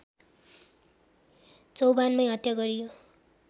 चौभानमै हत्या गरियो